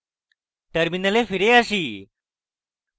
terminal ফিরে আসি